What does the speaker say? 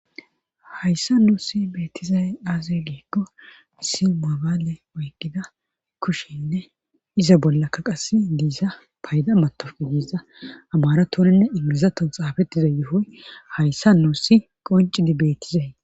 hayssa nuusi beettizay aaze giikko isi mabaale oygida kushenne iza bollakka qasse diisa payda matodiiza abaaratoninne ingilizaton xaafettiza yohoy hayssa nuusi qoncidi beettizay